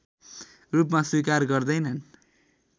रूपमा स्वीकार गर्दैनन्